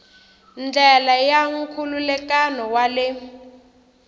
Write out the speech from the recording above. ndlela ya nkhulukelano wa le